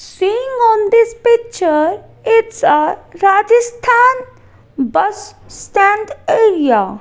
seeing on this picture it's a rajasthan bus stand area.